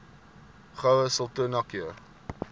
goue sultana keur